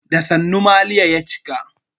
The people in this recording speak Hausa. Da sannu maliya ya cika.